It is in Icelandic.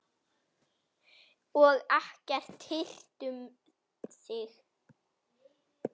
Og ekkert hirt um þig.